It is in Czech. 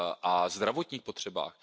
a zdravotních potřebách.